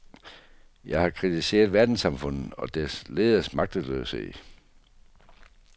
Jeg har kritiseret verdenssamfundet og dets lederes magtesløshed.